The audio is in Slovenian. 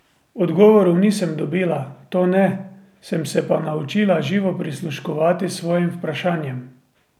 Odgovorov nisem dobila, to ne, sem se pa naučila živo prisluškovati svojim vprašanjem.